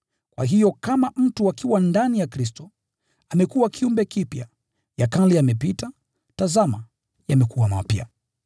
Kwa hiyo kama mtu akiwa ndani ya Kristo, amekuwa kiumbe kipya; ya kale yamepita, tazama, yamekuwa mapya.